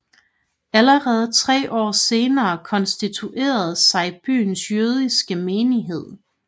Allerede tre år senere konstituerede sig byens jødiske menighed